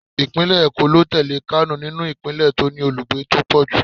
Ìpínlẹ̀ Èkó ló tẹ̀lé nínú ìpínlẹ̀ tó ní olùgbé tó pọ̀ jù.